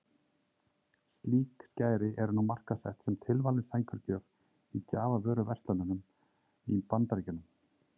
Slík skæri eru nú markaðssett sem tilvalin sængurgjöf í gjafavöruverslunum í Bandaríkjunum.